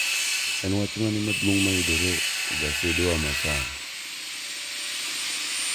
En wach mane maduong ' mayudore e gasedewa masani?